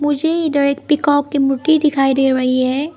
मुझे direct peacock की मूर्ति दिखाई दे रही है।